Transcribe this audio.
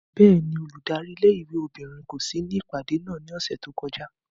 Bẹ́ẹ̀ni, óludari ìlé-ìwé obinrin ko si ni ipade náa ni ọsẹ to kọja.